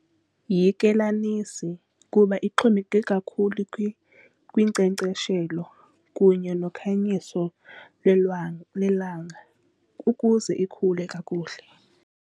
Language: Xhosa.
Yikelanisi kuba ixhomekeke kakhulu kwinkcenkceshelo kunye nokhanyiso lelanga ukuze ikhule kakuhle.